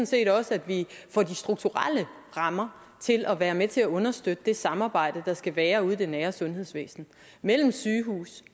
set også at vi får de strukturelle rammer til at være med til at understøtte det samarbejde der skal være ude i det nære sundhedsvæsen mellem sygehus